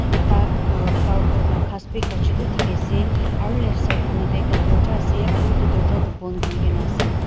ekta aa flower pot lah ghass bhi ekta chotto dikhi ase aru left side fanhe teh ekta dorja ase aru etu dorja tu bond kuri ke na ase.